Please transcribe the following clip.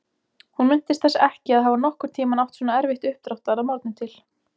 Hún minntist þess ekki að hafa nokkurn tímann átt svona erfitt uppdráttar að morgni til.